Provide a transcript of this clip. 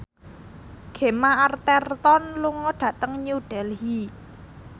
Gemma Arterton lunga dhateng New Delhi